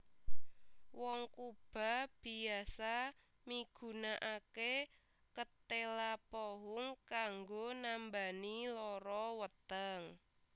Wong Kuba biasa migunakaké ketéla pohung kanggo nambani lara weteng